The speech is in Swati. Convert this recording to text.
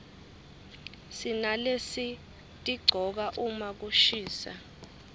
sinalesitigcoka uma kushisa